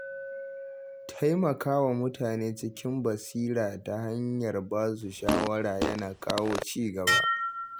Taimaka wa mutane cikin basira ta hanyar ba su shawara yana kawo ci gaba.